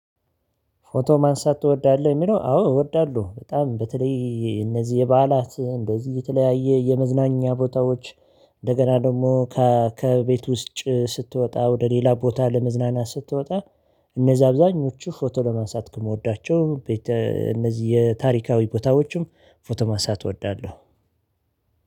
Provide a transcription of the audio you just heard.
ፎቶ ማንሳት ትወዳለሁ። የሚለው አዎ እወዳለሁ በጣም በተለይ እነዚህ የበዓላት እንደዚህ የተለያየ የመዝናኛ ቦታዎች እንደገና ደግሞ ከቤት ውስጥ ስትወጣ ወደ ሌላ ቦታ ለመዝናናት ስትወጣ። እነዛ አብዛኞቹ ፎቶ ለማንሳት ከምወዳቸው እነዚህ የታሪካዊ ቦታዎችም ፎቶ ማንሳት እወዳለሁ።